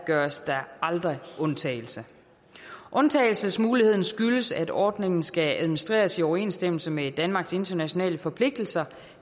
gøres der aldrig undtagelser undtagelsesmuligheden skyldes at ordningen skal administreres i overensstemmelse med danmarks internationale forpligtelser